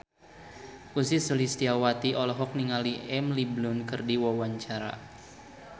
Ussy Sulistyawati olohok ningali Emily Blunt keur diwawancara